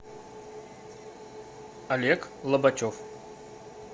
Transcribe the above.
олег лобачев